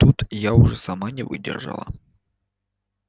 тут я уже сама не выдержала